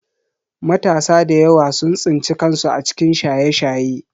Matasa da yawa sun tsinci kansu a cikin Shaye-Shaye